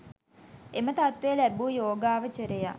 එම තත්ත්වය ලැබූ යෝගාවචරයා